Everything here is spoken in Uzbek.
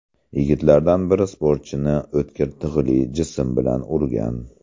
Yigitlardan biri sportchini o‘tkir tig‘li jism bilan urgan.